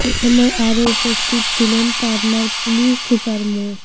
এ সময় আরো উপস্থিত ছিলেন পাবনার পুলিশ সুপার মো